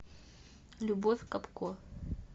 любовь капко